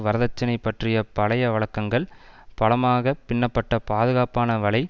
வரதட்சினை பற்றிய பழைய வழக்கங்கள் பலமாகப் பின்னப்பட்ட பாதுகாப்பான வலை